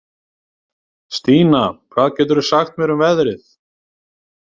Stína, hvað geturðu sagt mér um veðrið?